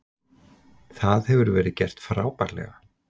Það hefur verið gert frábærlega.